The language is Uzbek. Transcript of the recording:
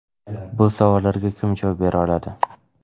Bu savollarga kim javob bera oladi?